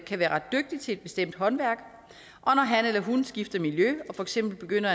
være ret dygtig til et bestemt håndværk og når han eller hun skifter miljø og for eksempel begynder